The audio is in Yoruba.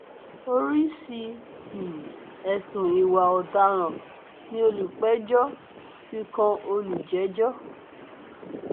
oríṣìí um ẹsùn ìwà ọdaràn ni olùpẹjọ fi kan olùjẹjọ